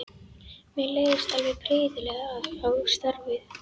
Mér leist alveg prýðilega á starfið.